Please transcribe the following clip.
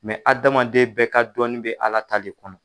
hadamaden bɛɛ ka dɔɔnin bɛ ala ta de kɔnɔ.